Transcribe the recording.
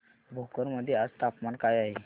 भोकर मध्ये आज तापमान काय आहे